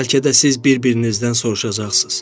Bəlkə də siz bir-birinizdən soruşacaqsınız: